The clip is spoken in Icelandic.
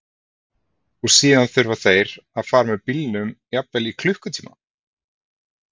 Og síðan þurfa þeir að fara með bílnum jafnvel í klukkutíma?